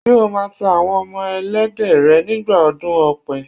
Ṣé o máa tá Àwọn ọmọ Ẹlẹ́dẹ̀ rẹ nígbà ọdún ọ̀pẹ?